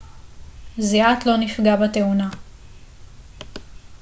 זיאת לא נפגע בתאונה